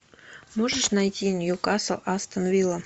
можешь найти ньюкасл астон вилла